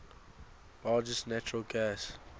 largest natural gas